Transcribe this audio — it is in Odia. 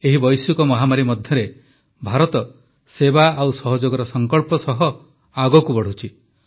ଏହି ବୈଶ୍ୱିକ ମହାମାରୀ ମଧ୍ୟରେ ଭାରତ ସେବା ଓ ସହଯୋଗର ସଙ୍କଳ୍ପ ସହ ଆଗକୁ ବଢ଼ୁଛି